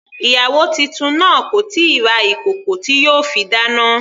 Ìyàwó titun náà kò tíì ra ìkòkò tí yóò fi dáná.